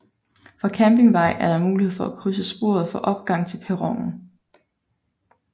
Fra Campingvej er der mulighed for at krydse sporet for opgang til perronen